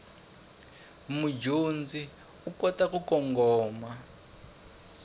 mudyondzi u kota ku kongoma